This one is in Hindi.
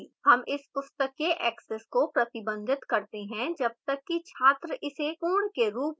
हम इस पुस्तक के access को प्रतिबंधित करते हैं जब तक कि छात्र इसे पूर्ण के रूप में इंगित नहीं कर let